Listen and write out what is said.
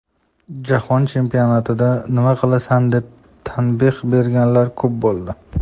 Jahon chempionatida nima qilasan”, deb tanbeh berganlar ko‘p bo‘ldi.